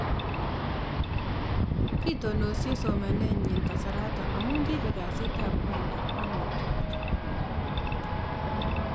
kitononsie somanenyin kasaraton amuun kipeg gasit ap kwanda ag netupcho